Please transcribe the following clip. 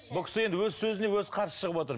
бұл кісі енді өз сөзіне өзі қарсы шығып отыр